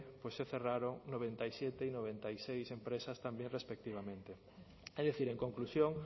pues se cerraron noventa y siete y noventa y seis empresas también respectivamente es decir en conclusión